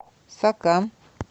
сока